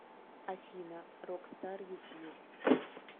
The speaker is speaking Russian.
афина рокстар ютуб